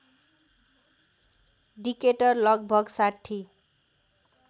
Decatur लगभग ६०